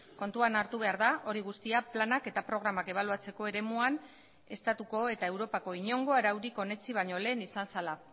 kontuan hartu behar da hori guztia planak eta programak ebaluatzeko eremuan estatuko eta europako inongo araurik onetsi baino lehen izan zela